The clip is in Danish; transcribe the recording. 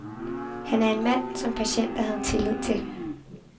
Han er en mand, som patienter havde tillid til.